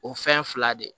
O fɛn fila de ye